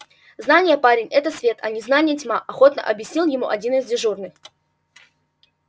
знание парень это свет а незнание тьма охотно объяснил ему один из дежурных